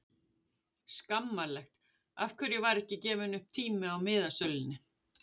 Skammarlegt Af hverju var ekki gefinn upp tími á miðasölunni?